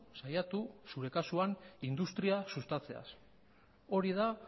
saiatu zure kasuan industria sustatzeaz hori da